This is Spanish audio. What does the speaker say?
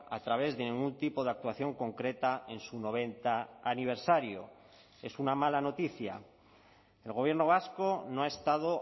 a través de ningún tipo de actuación concreta en su noventa aniversario es una mala noticia el gobierno vasco no ha estado